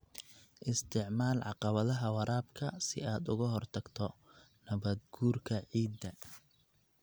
Isticmaal caqabadaha waraabka si aad uga hortagto nabaad-guurka ciidda.